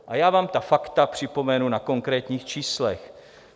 A já vám ta fakta připomenu na konkrétních číslech.